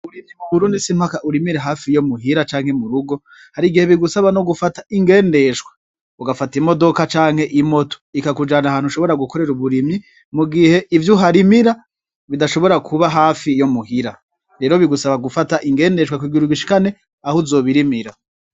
Uburimyi bukurundi simpaka urimire hafi yo muhira canke mu rugo hari igihe bigusaba no gufata ingendeshwa ugafata imodoka canke imoto ikakujana ahantu ushobora gukorera uburimyi mu gihe ivyo uharimira bidashobora kuba hafi yo muhira rero bigusaba gufata ingendeshwa kugira ugishikane aho uzobirimira.